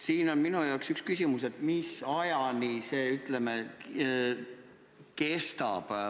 Siin on minu jaoks üks küsimus, mis ajani see kestab.